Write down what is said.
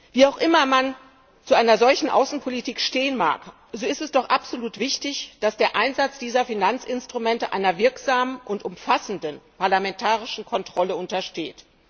Wie auch immer man zu einer solchen Außenpolitik stehen mag, so ist es doch absolut wichtig, dass der Einsatz dieser Finanzinstrumente einer wirksamen und umfassenden parlamentarischen Kontrolle untersteht.